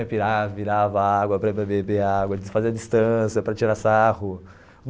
Aí virava virava água para beber, fazia à distância, para tirar sarro.